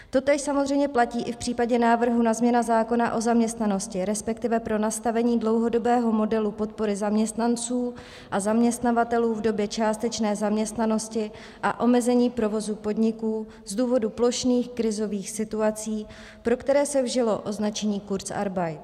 Totéž samozřejmě platí i v případě návrhu na změnu zákona o zaměstnanosti, respektive pro nastavení dlouhodobého modelu podpory zaměstnanců a zaměstnavatelů v době částečné zaměstnanosti a omezení provozu podniků z důvodu plošných krizových situací, pro který se vžilo označení kurzarbeit.